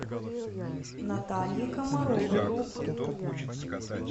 наталье комаровой